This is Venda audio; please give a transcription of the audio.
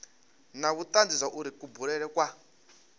na vhutanzi zwauri kubulele kwa